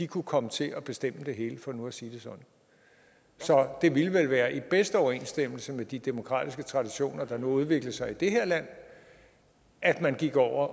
kunne komme til at bestemme det hele for nu at sige det sådan så det ville vel være i bedste overensstemmelse med de demokratiske traditioner der nu har udviklet sig i det her land at man gik over